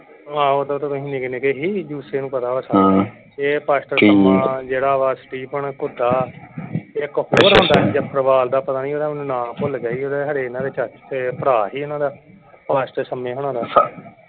ਆਹੋ ਓਦੋ ਤਾਂ ਤੁਸੀ ਨਿਕੇ ਨਿਕੇ ਸੀ ਜੁਸੇ ਨੂੰ ਪਤਾ ਵਾ ਸਾਰਾ ਕੁਛ ਇਹ ਪਾਸਟਰ ਜਿਹੜਾ ਵਾ ਸਟੇਫਨ ਘੁੱਡਾ ਇਕ ਹੋਰ ਹੁੰਦਾ ਸੀ ਜਫਰਵਾਲ ਦਾ ਪਤਾ ਨਹੀਂ ਉਹ ਦਾ ਮੈਨੂੰ ਨਾਂ ਭੁੱਲ ਗਿਆ ਹੀ ਓਹਦਾ ਇਨ੍ਹਾਂ ਦੇ ਚਾਚੇ ਭਰਾ ਸੀ ਇਨ੍ਹਾਂ ਦਾ ਪਾਸਟਰ ਸ਼ਮੇ ਹੁਣਾ ਦਾ।